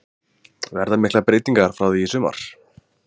Verða miklar breytingar frá því í sumar?